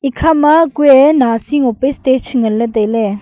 ekhama kue nasi ngope stage nganley tailey.